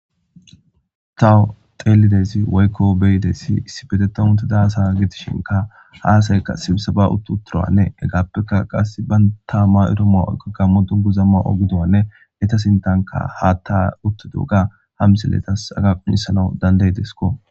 tawo telidezi waykko beydessi issi beteta unteda asa gidishinka haasayka simsaba utt uturoanne egaappeka qass ba taamma iromo oykko kammo dun gu zamma ogudowanne eta sintanka haatta utta duuga hamiselletas aga qunisanau dandey desko